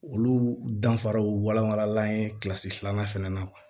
Olu danfaraw walawala an ye kilasi filanan fana na kuwa